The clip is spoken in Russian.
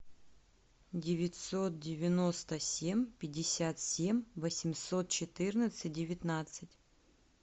девятьсот девяносто семь пятьдесят семь восемьсот четырнадцать девятнадцать